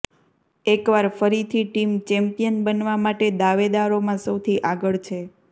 એક વાર ફરી થી ટીમ ચેમ્પિયન બનવા માટે દાવેદારોમાં સૌથી આગળ છે